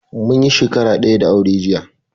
Munyi shakara daya da aure jiya